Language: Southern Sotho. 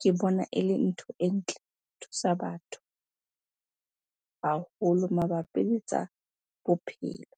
Ke bona ele ntho e ntle, e thusa batho haholo mabapi le tsa bophelo.